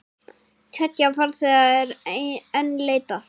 Tveggja farþega er enn leitað.